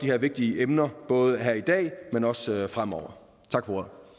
her vigtige emner både her i dag men også fremover tak